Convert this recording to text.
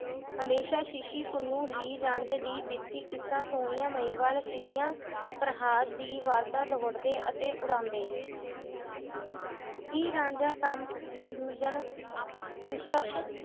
ਹਮੇਸ਼ਾ ਸ਼ਸੀ ਪੁਨੂੰ, ਹੀਰ ਰਾਂਝੇ ਦੀ ਬੀਤੀ ਕਿੱਸਾ, ਸੋਹਣੀਆ ਮਹੀਵਾਲ ਫਰਿਹਾਦ ਦੀ ਵਾਰਤਾ ਦੋੜ੍ਹਦੇ ਅਤੇ ਉਡਾਉਂਦੇ ਹੀਰ ਰਾਂਝਾ